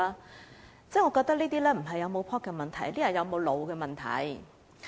我認為這並非是否夠 "pop" 的問題，而是有沒有腦子的問題。